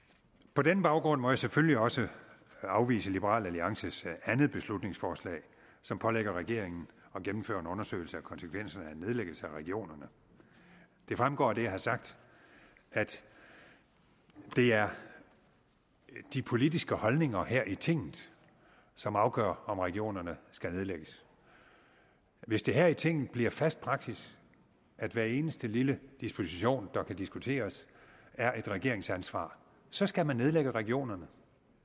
på denne baggrund må jeg selvfølgelig også afvise liberal alliances andet beslutningsforslag som pålægger regeringen at gennemføre en undersøgelse af konsekvenserne af en nedlæggelse af regionerne det fremgår af det jeg har sagt at det er de politiske holdninger her i tinget som afgør om regionerne skal nedlægges hvis det her i tinget bliver fast praksis at hver eneste lille disposition der kan diskuteres er et regeringsansvar så skal man nedlægge regionerne